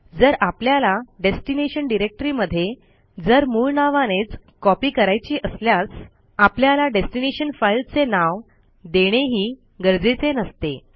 जर आपल्याला डेस्टिनेशन डिरेक्टरीमध्ये जर मूळ नावानेच कॉपी करायची असल्यास आपल्याला डेस्टीनेशन फाईलचे नाव देणेही गरजेचे नसते